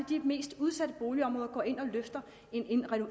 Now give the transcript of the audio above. de mest udsatte boligområder går ind og løfter